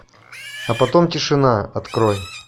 а потом тишина открой